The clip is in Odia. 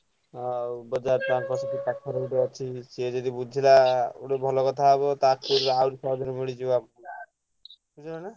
ହଁ ଆଉ ବଜାର ତାଙ୍କ ସେଠି ପାଖରେ ଗୋଟେ ଅଛି। ସେ ଯଦି ବୁଝିଲା ଗୋଟେ ଭଲ କଥା ହବ ତା ଆହୁରି ବଢିଯିବ ବୁଝିଲନା?